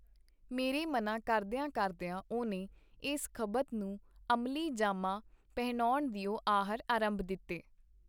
ਮੇਰੇ ਮਨ੍ਹਾਂ ਕਰਦੀਆਂ-ਕਰਦੀਆਂ ਉਹਨੇ ਏਸ ਖਬਤ ਨੂੰ ਅਮਲੀ ਜਾਮਾ ਪਹਿਨਾਉਣ ਦਿਓ ਆਹਰ ਅਰੰਭ ਦਿਤੇ.